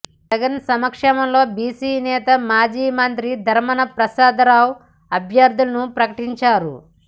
జగన్ సమక్షంలో బీసీ నేత మాజీ మంత్రి ధర్మాన ప్రసాదరావు అభ్యర్ధులను ప్రకటించారు